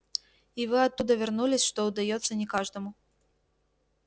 и вы оттуда вернулись что удаётся не каждому